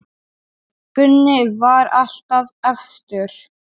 Gunni var alltaf efstur.